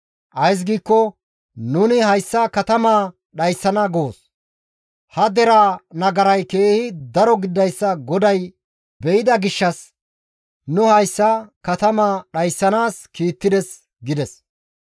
Ays giikko nuni hayssa katamaa dhayssana goos; ha deraa nagaray keehi daro gididayssa GODAY be7ida gishshas hayssa katamaa dhayssanaas nuna kiittides» gida.